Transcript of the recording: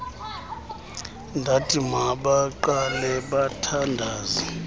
ndathi mabaqale bathandaze